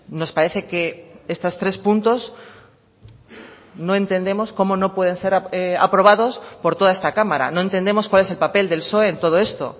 nos parece que estos tres puntos no entendemos cómo no pueden ser aprobados por toda esta cámara no entendemos cuál es el papel del psoe en todo esto